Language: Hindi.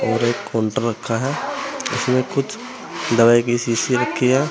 और एक काउंटर रखा है जिसमें कुछ दवाई की शीशी रखी है।